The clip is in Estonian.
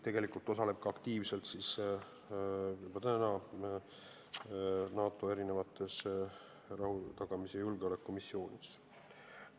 Tegelikult osaleb ta juba nüüd aktiivselt NATO rahutagamis- ja julgeolekumissioonides.